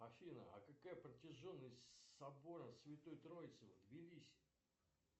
афина а какая протяженность собора святой троицы в тбилиси